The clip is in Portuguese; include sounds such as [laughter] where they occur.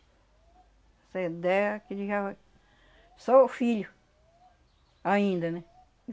Essa ideia que ele já... [unintelligible] Sou o filho, ainda, né?